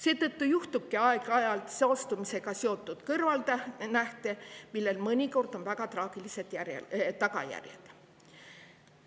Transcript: Seetõttu tekibki aeg-ajalt saastumisega seotud kõrvalnähte, millel on mõnikord väga traagilised tagajärjed.